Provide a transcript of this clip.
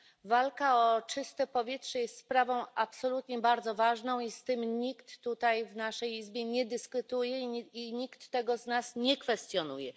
Walka o czyste powietrze jest sprawą absolutnie bardzo ważną i z tym nikt tutaj w naszej izbie nie dyskutuje, i nikt z nas tego nie kwestionuje.